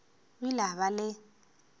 o ile a ba le